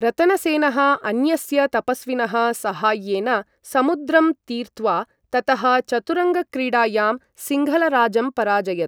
रतनसेनः अन्यस्य तपस्विनः साहाय्येन समुद्रं तीर्त्वा, ततः चतुरङ्ग क्रीडायां सिंघलराजं पराजयत।